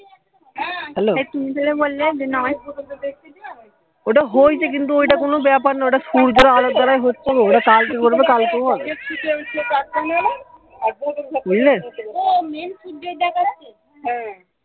hello ওটা হয়েছে কিন্তু ঐটা কোনো ব্যাপার নয় ওটা সূর্যের আলোর দ্বারা হচ্ছে ওটা কালকেও হবে বুঝলে